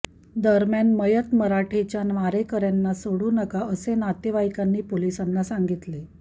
दरम्यान मयत मराठेच्या मारेकऱ्यांना सोडू नका असे नातेवाईकांनी पोलीसांना सांगितले